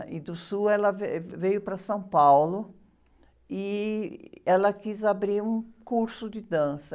E do sul ela, veio para São Paulo e ela quis abrir um curso de dança.